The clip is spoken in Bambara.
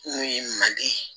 N'o ye manden ye